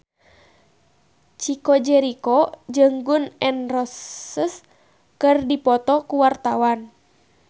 Chico Jericho jeung Gun N Roses keur dipoto ku wartawan